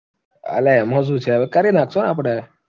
અલ્યા, એમાં શું છે, હવે કરી નાખશું ને આપડે